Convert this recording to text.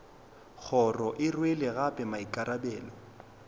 kgoro e rwele gape maikarabelo